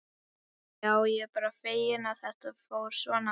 Já, ég er bara feginn að þetta fór svona.